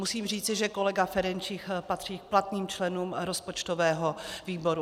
Musím říci, že kolega Ferjenčík patří k platným členům rozpočtového výboru.